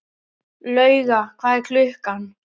Lauga, hvað er klukkan?